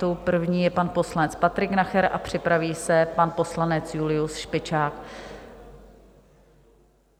Tou první je pan poslanec Patrik Nacher a připraví se pan poslanec Julius Špičák.